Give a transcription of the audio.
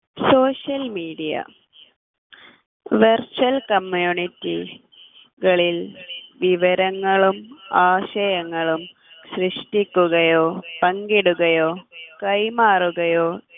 social media virtual community കളിൽ വിവരങ്ങളും ആശയങ്ങളും സൃഷ്ടിക്കുകയോ പങ്കിടുകയോ കൈമാറുകയോ